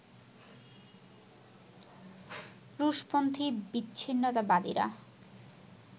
রুশপন্থি বিচ্ছিন্নতাবাদীরা